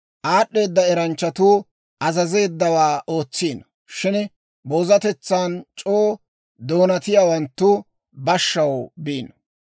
Aad'd'eeda eranchchatuu azazeeddawaa ootsiino; shin boozatetsan c'oo doonatiyaawanttu bashshaw biino.